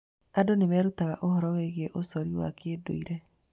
Andũ nĩ merutaga ũhoro wĩgiĩ ũcori wa kĩndũire.